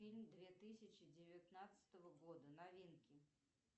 фильм две тысячи девятнадцатого года новинки